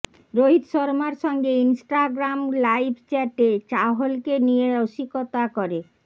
রোহিত শর্মার সঙ্গে Instagram live চ্যাটে চাহলকে নিয়ে রসিকতা করে